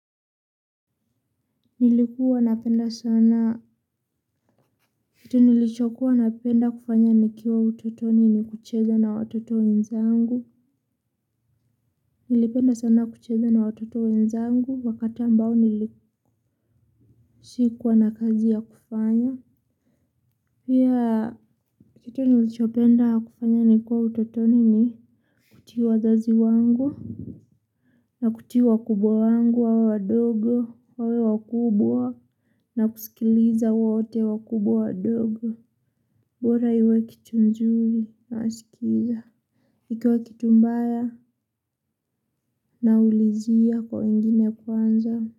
Nilikuwa napenda sana kitu nilichokuwa napenda kufanya nikiwa utotoni ni kucheza na watoto wenzangu nilipenda sana kucheza na watoto wenzangu wakati ambao nilikuwa sikuwa na kazi ya kufanya yaa kitu nilicho penda kufanya nikiwa utotoni ni kutii wazazi wangu na kutii wakubwa wangu wawe wadogo wawe wakubwa na kusikiliza wote wakubwa wadogo bora iwe kitu mzuri nasikiza. Ikiwa kitu mbaya naulizia kwa wengine kwanza.